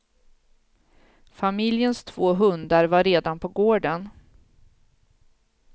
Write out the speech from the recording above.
Familjens två hundar var redan på gården.